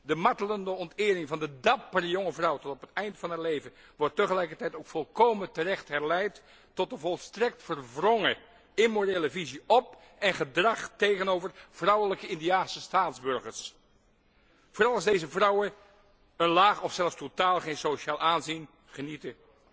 De martelende ontering van de dappere jonge vrouw tot op het eind van haar leven wordt tegelijkertijd ook volkomen terecht herleid tot de volstrekt verwrongen immorele visie op en gedrag tegenover vrouwelijke Indiase staatsburgers, vooral als deze vrouwen een laag of zelfs totaal geen sociaal aanzien genieten.